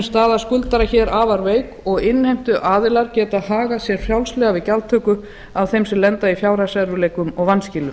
staða skuldara hér afar veik og innheimtuaðilar geta hagað sér frjálslega við gjaldtöku af þeim sem lenda í fjárhagserfiðleikum og vanskilum